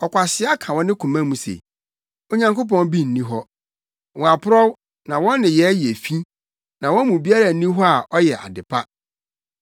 Ɔkwasea ka wɔ ne koma mu se, “Onyankopɔn bi nni hɔ.” Wɔaporɔw, na wɔn nneyɛe yɛ fi na wɔn mu biara nni hɔ a ɔyɛ ade pa.